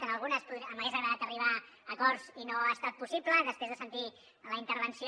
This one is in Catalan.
en algunes m’hagués agradat arribar a acords i no ha estat possible després de sentir la intervenció